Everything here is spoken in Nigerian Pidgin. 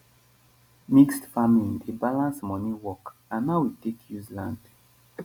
mixed farming dey balance money work and how we take use land.